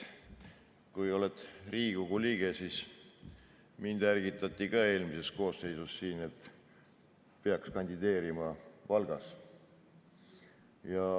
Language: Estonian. Olin Riigikogu liige ja mind ärgitati ka eelmises koosseisus, et peaks kandideerima Valgas.